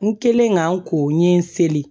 N kɛlen ka n ko n ɲe n seli